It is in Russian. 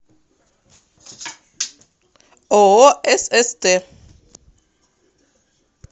ооо сст